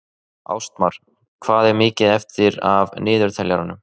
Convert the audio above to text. Ástmar, hvað er mikið eftir af niðurteljaranum?